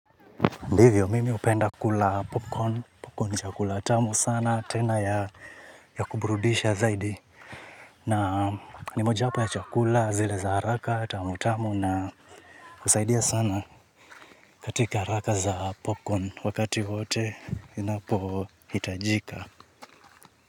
Ndivyo, mimi upenda kula popcorn, popcorn chakula, tamu sana, tena ya kuburudisha zaidi. Na ni moja hapa ya chakula, zile za haraka, tamu tamu na usaidia sana katika haraka za popcorn, wakati wote inapo itajika.